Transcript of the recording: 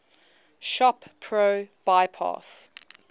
shop pro bypass